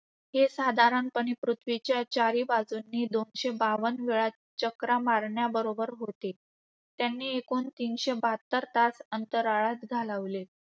हे साधारणपणे पृथ्वीच्या चारी बाजूनी दोनशे बावन्न वेळा चकरा मारण्याबरोबर होते. त्यांनी एकूण तीनशे बहात्तर तास अंतराळात घालवले.